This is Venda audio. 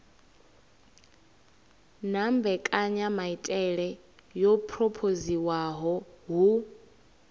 na mbekanyamaitele yo phurophoziwaho hu